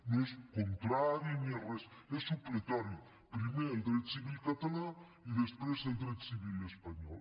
no és contrari ni és res és supletori primer el dret civil català i després el dret civil espanyol